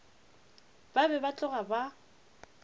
ba be ba tloga ba